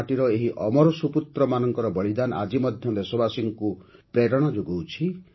ଝାଡ଼ଖଣ୍ଡ ମାଟିର ଏହି ଅମର ସୁପୁତ୍ରମାନଙ୍କ ବଳିଦାନ ଆଜି ମଧ୍ୟ ଦେଶବାସୀଙ୍କୁ ପ୍ରେରଣା ଯୋଗାଉଛି